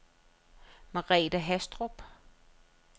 Merethe Haastrup